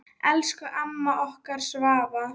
Elsku amma okkar Svava.